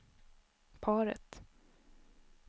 paret